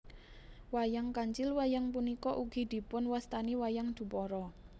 Wayang Kancil Wayang punika ugi dipunwastani wayang Dupara